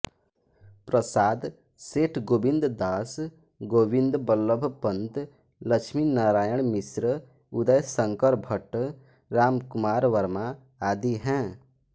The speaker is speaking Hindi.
प्रसाद सेठ गोविंद दास गोविंद वल्लभ पंत लक्ष्मीनारायण मिश्र उदयशंकर भट्ट रामकुमार वर्मा आदि हैं